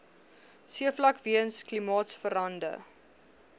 seevlak weens klimaatsverande